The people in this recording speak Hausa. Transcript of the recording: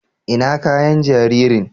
ina kayan jaririn?